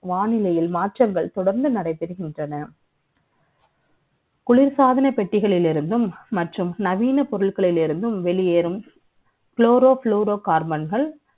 வானிலை மாற்றங்கள் தொடர்ந்து நடைபெறுகின்றன. குளிர்சாதன பெட்டியிலிருந்து மற்றும் நவீனப் பொருட்களில் இருந்தும் வெளியேறும் Chloroplorocarbon